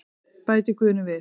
Bætir Guðni við.